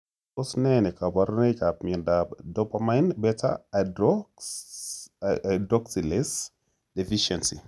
Tos ne kaborunoikap miondop dopamine beta hydroxylase deficiency?